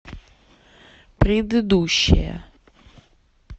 предыдущая